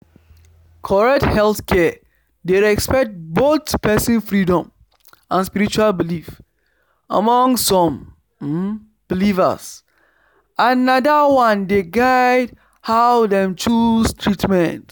correct healthcare dey respect both person freedom and spiritual belief among some um believers and na that one dey guide how dem choose treatment